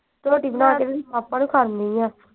ਰੋਟੀ ਬਣਾ ਕੇ ਇਹਦੇ papa ਨੂੰ ਖੜਨੀ ਆ।